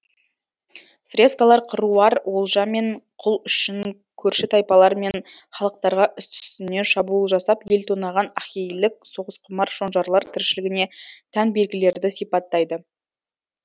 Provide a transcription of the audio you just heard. фрескалар қыруар олжа мен құл үшін көрші тайпалар мен халықтарға үсті үстіне шабуыл жасап ел тонаған ахейлік соғысқұмар шонжарлар тіршілігіне тән белгілерді сипаттайды